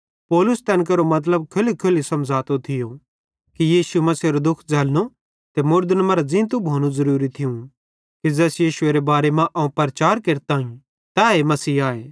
पौलुस तैन केरो मतलब खोल्लीखोल्ली समझ़ातो थियो कि यीशु मसीहेरो दुःख झ़ैल्लनो ते मुड़दन मरां ज़ींतू भोनू ज़ुरूरी थियूं कि ज़ैस यीशुएरे बारे मां अवं प्रचार केरतम तैए मसीह आए